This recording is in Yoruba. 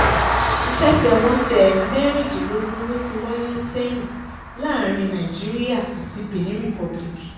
ìfẹsẹ̀wọnsẹ̀ mẹ́rìndínlógún ló ti wáyé sẹ́yìn láàrin nàìjíríà àti benin republic